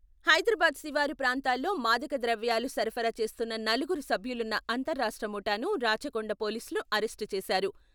హైదరాబాద్ శివారు ప్రాంతాల్లో మాదక ద్రవ్యాలు సరఫరా చేస్తున్న నలుగురు సభ్యులున్న అంతరాష్ట్ర ముఠాను రాచకొండ పోలీసులు అరెస్టు చేశారు.